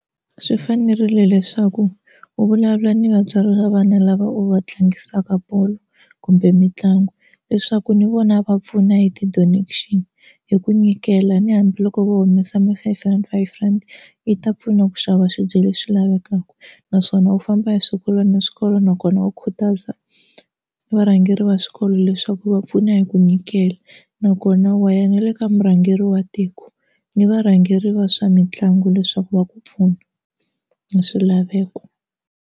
Swi fanerile leswaku u vulavula ni vatswari va vana lava u va tlangisaka bolo kumbe mitlangu leswaku ni vona va pfuna hi ti-donation hi ku nyikela ni hambiloko vo humesa ma-five rand five rand yi ta pfuna ku xava swibye leswi lavekaka, naswona u famba hi swikolo na swikolo nakona u khutaza varhangeri va swikolo leswaku va pfuna hi ku nyikela nakona wa ya na le ka murhangeri wa tiko ni varhangeri va swa mitlangu leswaku va ku pfuna ni swilaveko.